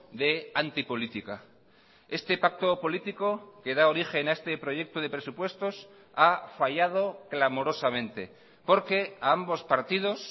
de antipolítica este pacto político que da origen a este proyecto de presupuestos ha fallado clamorosamente porque a ambos partidos